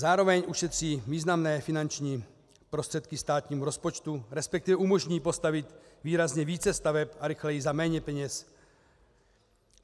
Zároveň ušetří významné finanční prostředky státnímu rozpočtu, respektive umožní postavit výrazně více staveb a rychleji za méně peněz.